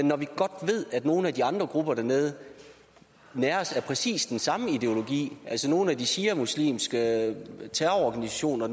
når vi godt ved at nogle af de andre grupper dernede næres af præcis den samme ideologi altså nogle af de shiamuslimske terrororganisationer